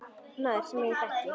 Maður, sem ég þekki.